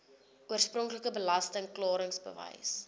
oorspronklike belasting klaringsbewys